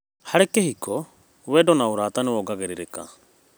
Harĩ kĩhiko, wendo na ũrata nĩ wongagĩrĩrĩka.